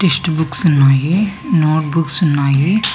Test books ఉన్నాయి note books ఉన్నాయి.